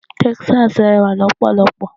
Texas rẹwà lọ́pọ̀lọ́pọ̀.